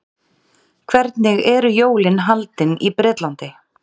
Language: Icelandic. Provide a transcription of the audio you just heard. Hvernig eru jólin haldin í Bretlandi?